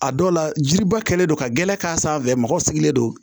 A dɔw la jiba kɛlen don ka gɛrɛ k'a sanfɛ mɔgɔw sigilen don